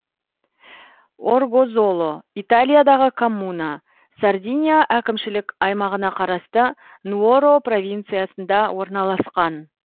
оргозоло италиядағы коммуна сардиния әкімшілік аймағына қарасты нуоро провинциясында орналасқан